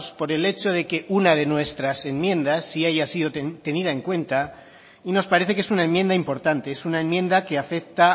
por el hecho de que una de nuestras enmiendas sí haya sido tenida en cuenta y nos parece que es una enmienda importante es una enmienda que afecta